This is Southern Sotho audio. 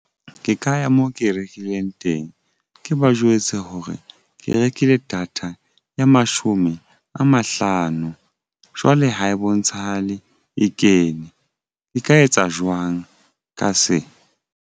Ke ka ya moo ke e rekileng teng ke ba jwetse hore ke rekile data ya mashome a mahlano. Jwale ha e bontshahale e kene e ka etsa jwang ka se.